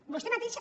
vostè mateixa